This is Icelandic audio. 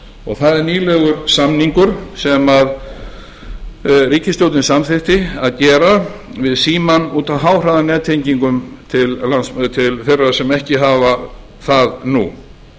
og það er nýlegur samningur sem ríkisstjórnin samþykkti að gera við símann út af háhraðanettengingum til þeirra sem ekki hafa það nú